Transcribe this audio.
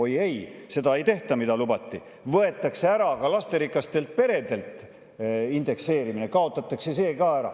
Oi ei, seda ei tehta, mida lubati, vaid võetakse ära ka lasterikastelt peredelt indekseerimine, kaotatakse see ka ära.